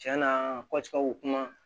Tiɲɛ na kuma